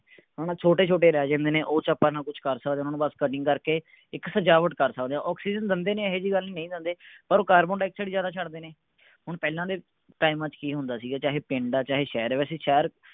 ਹੈ ਨਾ ਛੋਟੇ ਛੋਟੇ ਰਹੀ ਜਾਂਦੇ ਨੇ ਓਹਦੇ ਚ ਨਾ ਆਪਾਂ ਕੁਝ ਕਰ ਸਕਦੇ ਹਾਂ ਉਹਨਾਂ ਚ ਬੱਸ cutting ਕਰਕੇ ਇੱਕ ਸਜਾਵਟ ਕਰ ਸਕਦੇ ਹਾਂ ਆਕਸੀਜ਼ਨ ਦਿੰਦੇ ਨੇ ਇਹ ਇਹੋ ਜਿਹੀ ਗੱਲ ਨਹੀਂ ਕਿ ਨਹੀਂ ਦਿੰਦੇ ਪਰ ਉਹ ਕਾਰਬਨ ਡਾਈਆਕਸਾਈਡ ਜਿਆਦਾ ਛੱਡਦੇ ਨੇ ਹੁਣ ਪਹਿਲਾਂ ਦੇ ਟਾਈਮਾਂ ਚ ਕੀ ਹੁੰਦਾ ਸੀ ਵੈਸੇ ਚਾਹੇ ਪਿੰਡ ਹੈ ਚਾਹੇ ਸ਼ਹਿਰ ਹੈ ਵੈਸੇ ਸ਼ਹਿਰ।